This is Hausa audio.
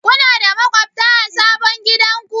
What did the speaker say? Kuna da maƙwabta a sabon gidanku?